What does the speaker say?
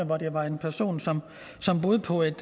hvor det var en person som som boede på et